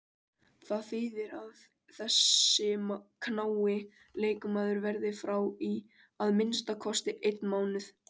Það þýðir að þessi knái leikmaður verður frá í að minnsta kosti einn mánuð.